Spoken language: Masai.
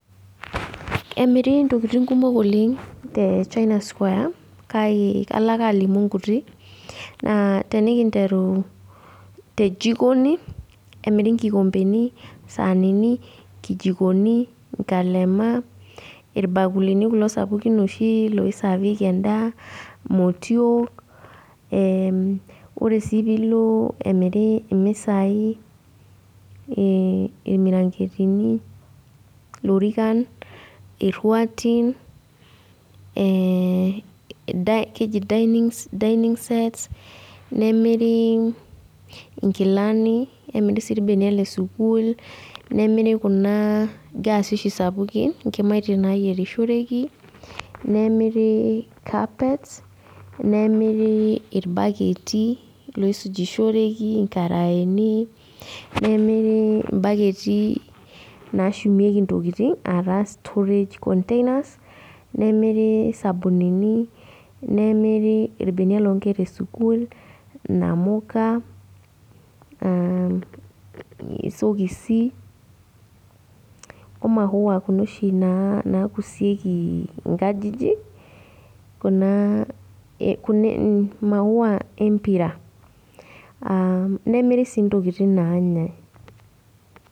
Emiri ntokiting kumok oleng te China square, kake kalo ake alimu nkutik. Naa tenikinteru tejikoni, emiri nkikompeni, saanini, nkijikoni, inkalema, irbakulini kulo sapukin oshi loisaavieki endaa, motiok, ore si pilo emiri misai, irmiranketini, ilorikan, irruatin, keji dining sets, nemiri inkilani, nemiri si irbenia lesukuul, nemiri kuna gaasi oshi sapukin, inkimaitie naiyierishoreki, nemiri carpets, nemiri irbaketi loisujishoreki, inkaraeni, nemiri imbaketi nashumieki intokiting, ah taa storage containers, nemiri isabunini, nemiri irbenia lonkera esukuul, namuka, isokisi, omaua kuna oshi nakusieki inkajijik, kuna maua empira. Nemiri si intokiting nanyai.